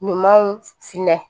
Ɲumanw finɛ